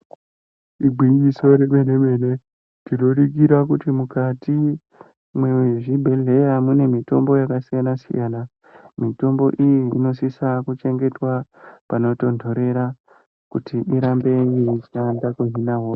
Igwinyiso remen-mene, tinoningira kuti mukati mwezvibhedhleya mune mitombo yakasiyana-siyana. Mitombo iyi inosisa kuchengetwa panotontorera, kuti irambe yeishanda kuhina hosha.